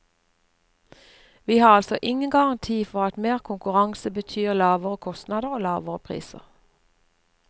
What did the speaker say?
Vi har altså ingen garanti for at mer konkurranse betyr lavere kostnader og lavere priser.